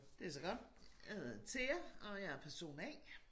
Det så godt jeg hedder Thea og jeg er person A